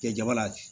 Kɛ jaba la